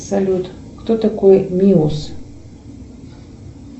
салют кто такой миус